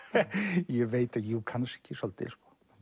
ég veit það ekki jú kannski svolítið